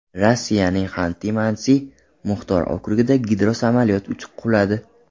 Rossiyaning Xanti-Mansi muxtor okrugida gidrosamolyot quladi.